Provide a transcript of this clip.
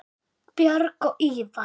Björg og Ívar.